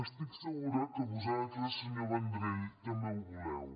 estic segura que vosaltres senyor vendrell també ho voleu